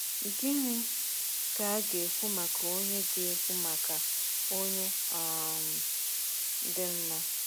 Gịnị ka a ga-ekwu maka onye ga-ekwu maka onye um dị mma?